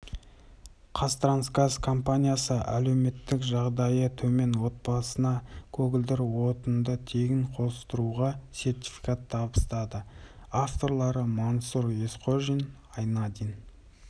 қазтрансгаз компаниясы әлеуметтік жағдайы төмен отбасына көгілдір отынды тегін қостыруға сертификат табыстады авторлары мансұр есқожин айнадин